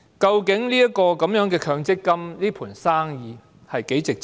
究竟強積金這盤生意有多值錢？